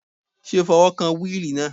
Ṣé o fi ọwọ́ kan wíìlì náà?